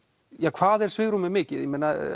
hvað er svigrúmið mikið